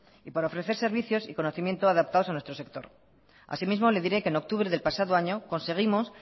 y para ofrecer servicios y conocimiento adaptados a nuestro sector así mismo le diré que en octubre del pasado año conseguimos